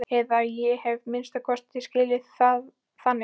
Eða ég hef að minnsta kosti skilið það þannig.